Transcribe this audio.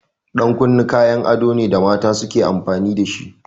Ɗan kunne kayan ado ne da mata suke amfani dashi.